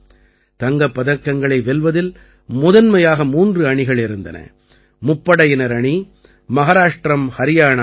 தங்கப் பதக்கங்களை வெல்வதில் முதன்மையாக மூன்று அணிகள் இருந்தன முப்படையினர் அணி மஹாராஷ்டிரம் ஹரியாணா அணிகள்